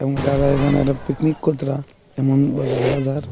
যারা এখানে একটা পিকনিক এমনভাবে দেখা যার।